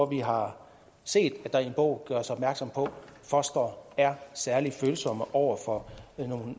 vi har set at der i en bog gøres opmærksom på at fostre er særlig følsomme over for